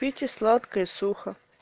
пейте сладкое и сухо